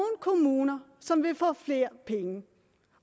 kommuner som vil få flere penge